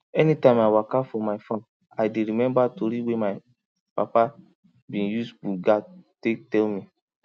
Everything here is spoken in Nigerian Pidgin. anytime i walka for my farm i dey remember tori wey my papa be use buga take tell me